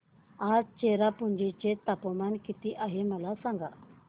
आज चेरापुंजी चे तापमान किती आहे मला सांगा